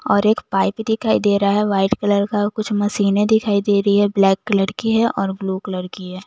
और एक पाइप दिखाई दे रहा है व्हाइट कलर का और कुछ मशीने दिखाई दे रही है ब्लैक कलर की है और ब्लू कलर की है।